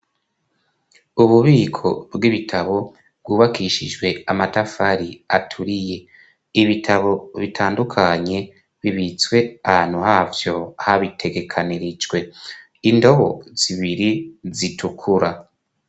Ububiko bw'ibitabo bwubakishijwe amatafari aturiye. Ibitabo bitandukanye bibitswe ahantu havyo habitegekanirijwe. Indobo zibiri zitukura.